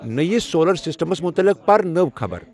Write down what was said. نٔوو سولر سیسٹمَس مُتلِق پَر نٮٔوۍ خبَر